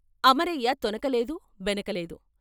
అమరయ్య తొణక లేదు బెనక లేదు.